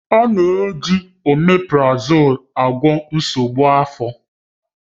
A na-eji oméprazolú agwọ nsogbu afọ.